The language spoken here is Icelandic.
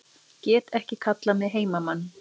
Get ekki kallað mig heimamann